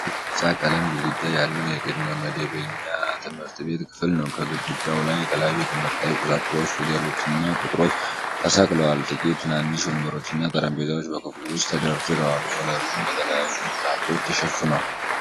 ባለ ቢጫ ቀለም ግድግዳ ያለው የቅድመ መደበኛ ትምህርት ቤት ክፍል ነው፡፡ ከግድግዳው ላይ የተለያዩ ትምህርታዊ ቁሳቁሶች፣ ፊደሎችና ቁጥሮች ተሰቅለዋል፡፡ ጥቂት ትናንሽ ወንበሮችና ጠረጴዛዎች በክፍሉ ውስጥ ተደርድረዋል፡፡ ወለሉም በተለያዩ ምንጣፎች ተሸፍኗል፡፡